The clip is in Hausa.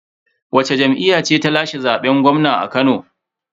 Wacce jam'iyya ce ta lashe zaben gwamna a Kano?